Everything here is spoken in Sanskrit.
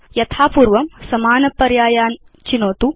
यथा पूर्वं समानपर्यायान् चिनोतु